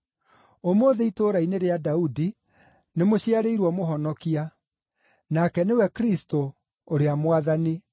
Ũmũthĩ itũũra-inĩ rĩa Daudi, nĩmũciarĩirwo mũhonokia; nake nĩwe Kristũ ũrĩa Mwathani.